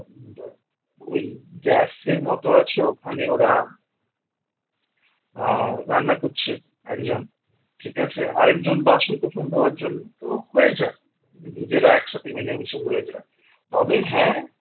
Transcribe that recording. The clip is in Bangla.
ওই গ্যাসের মত আছে ওখানে ওরা আ রান্না করছে একজন ঠিক আছে আর একজন বাসন-কোসন ধোয়ার জন্য তো হয়ে যায় নিজেরা একসাথে মিলেমিশে হয়ে যায় তবে হ্যাঁ